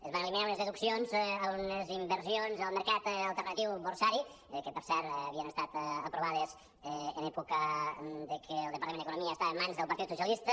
es van eliminar unes deduccions a unes inver·sions al mercat alternatiu borsari que per cert havien estat aprovades en època de que el departament d’economia estava en mans del partit socialista